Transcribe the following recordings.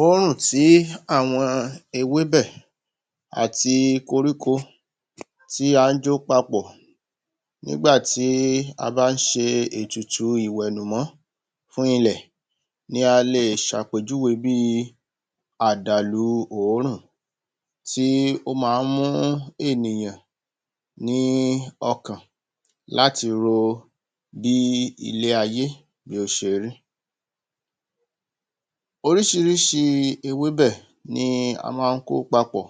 òórùn tí àwọn ewébẹ̀ àti koríko tí à ń jó papọ̀ nígbàtí a bá ń ṣe ètùtù ìwẹ̀nùmọ́ fún ilẹ̀ ni a lè ṣàpèjúwe bí i àdàlu òórùn tí ó maá ń mú ènìyàn ní ọkàn láti ro bí ilé-ayé yóò ṣe rí. oríṣiríṣi ewébẹ̀ ni a má ń kó papọ̀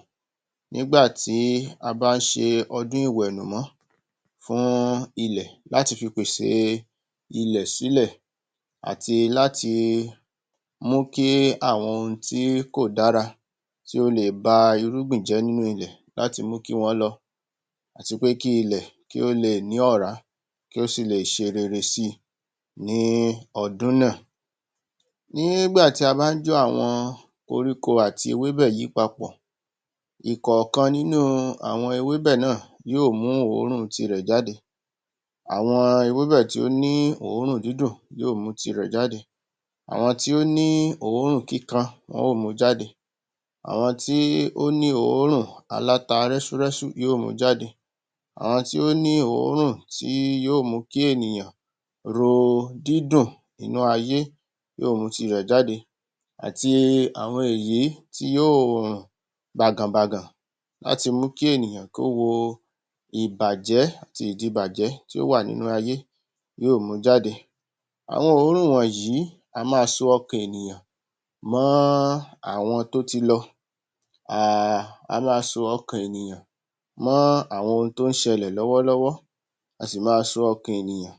nígbàtí a bá ń ṣe ọdún ìwẹ̀nùmọ́ fún ilẹ̀ láti fi pèsè ilẹ̀ sílẹ̀ àti láti mú kí àwọn ohun tí kò dára tí ó le ba irúgbìn jẹ́ nínú ilẹ̀ láti mú kí wọ́n lọ àti pé kí ilẹ̀ kí ó le ní ọ̀rá kí ó sì le ṣe rere si ní ọdún náà nígbà tí a bá ń jó àwọn koríko àti ewebẹ́ yìí papọ̀, ìkọ̀ọ̀kan nínú àwọn ewébẹ̀ náà yóò mú òórùn tirẹ̀ jáde àwọn ewebẹ́ tí ó ní òórùn dídùn yóò mú tirẹ̀ jáde àwọn tí ó ní òórùn kíkan, wọn ó mu jáde àwọn tí ó ní òórùn aláta rẹ́súrẹ́sú yóò mu jáde àwọn tí ó ní òórùn tí yóò mú kí ènìyàn ro dídùn inú ayé yóò mú tirẹ̀ jáde àti àwọn èyí tí yóò rùn bàgànbàgàn láti mú kí ènìyàn kó wo ìbàjẹ́ àti ìdíbàjẹ́ tí ó wà nínú ayé yóò mu jáde àwọn òórùn á ma so ọkàn mọ́ àwọn tó ti lọ um á ma so ọkàn ènìyàn mọ́ àwọn ohun tó ń ṣẹlẹ̀ lọ́wọ́lọ́wọ́ a sì ma so ọkàn ènìyàn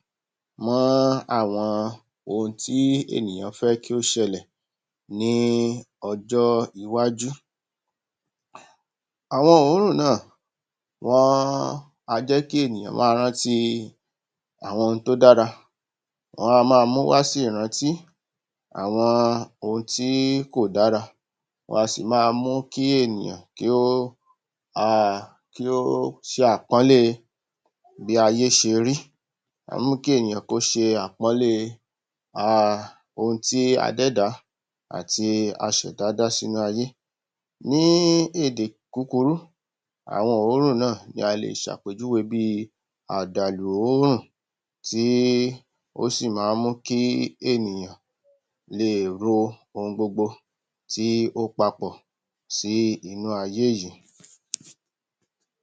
mọ́ àwọn ohun tí ènìyàn fẹ́ kí ó ṣẹlẹ̀ ní ọjọ́ iwájú Àwọn òórùn náà wọ́n a jẹ́ kí ènìyàn máa rántí àwọn ohun tó dára wọ́n a ma múwá sí ìrántí àwọn ohun tí kò dára wa sì ma mú kí ènìyàn kí ó um kí ó ṣe àpọ́nlé bí ayé ṣe rí ómú kí ènìyàn kí o ṣe àpọ́nlé um ohun tí adẹ́dàá àti aṣẹ̀dá dá sí inú ayé ní èdè kúkurú àwọn òórùn náà ni a lè ṣàpèjúwe bí i àdàlù òórùn tí ó sì má ń mú kí ènìyàn leè ro ohun gbogbo tí ó papọ̀ sí inú ayé yìí